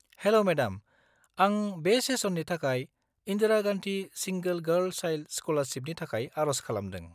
-हेल' madam, आं बे सेसननि थाखाय Indira Gandhi single girl child स्कलारशिपनि थाखाय आर'ज खालामदों।